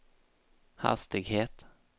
hastighet